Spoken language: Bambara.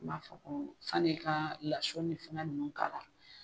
N b'a fɔ ko sanni i ka laso ni fɛngɛ ninnu k'a la.